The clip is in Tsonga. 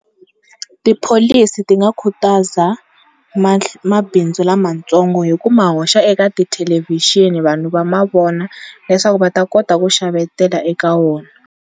Tipholisi ti nga khutaza mabindzu lamatsongo hi ku ma hoxa eka thelevhixini vanhu va ma vona leswaku va ta kota ku xavetela eka wona.